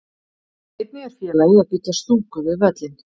Einnig er félagið að byggja stúku við völlinn.